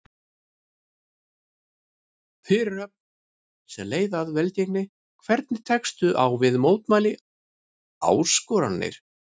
Fyrirhöfn sem leið að velgengni Hvernig tekstu á við mótlæti, áskoranir?